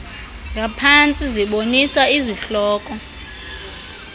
ngaphantsi zibonisa izihloko